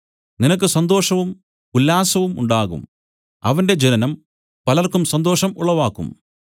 നിനക്ക് സന്തോഷവും ഉല്ലാസവും ഉണ്ടാകും അവന്റെ ജനനം പലർക്കും സന്തോഷം ഉളവാക്കും